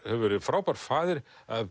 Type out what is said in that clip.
hefur verið frábær faðir